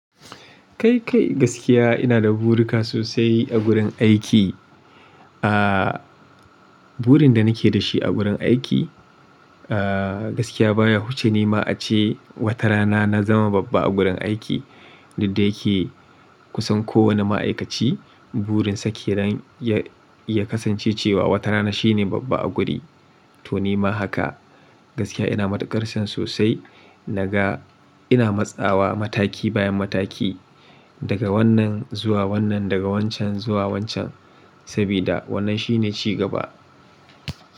Kai kai gaskiya ina da buri ka sosai a gurin aiki. Aa burin da nake da shi a gurin aiki aa gaskiya baya huce ni ma ace wata rana na zama babba a gurin aiki. Duk dayake kusan kowane ma'aikaci burin sake nan ya ya kasance cewa wata rana shine babba a guri to ni ma haka. Gaskiya ina matuƙar san sosai naga ina matsawa mataki bayan mataki daga wannan zuwa wannan daga wancan zuwa wancan sabida wannan shine ci gaba.